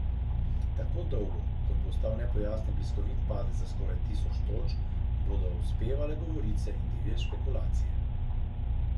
Tako dolgo, kot bo ostal nepojasnjen bliskovit padec za skoraj tisoč točk, bodo uspevale govorice in divje špekulacije.